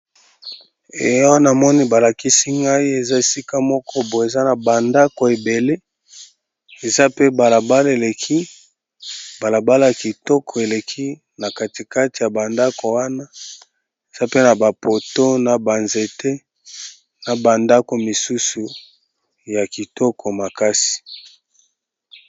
Eh awa na moni ba lakisi ngai eza esika moko bo eza na ba ndako ebele eza pe bala bala eleki, bala bala ya kitoko eleki na kati kati ya ba ndako wana eza pe na ba poto na ba nzete na ba ndako misusu ya kitoko makasi.